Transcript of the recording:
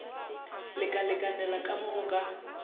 lekalekanela ka mo go ka